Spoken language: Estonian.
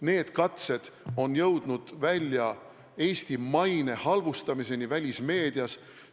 Need katsed on jõudnud välja Eesti maine halvustamiseni välismeedias.